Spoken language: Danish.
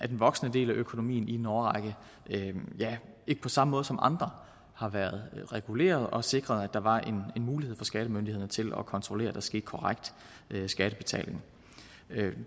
voksende del af økonomien i en årrække ikke på samme måde som andre har været reguleret og sikret at der var en mulighed for skattemyndighederne til at kontrollere at der skete korrekt skattebetaling